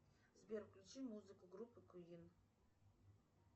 сбер включи музыку группы квин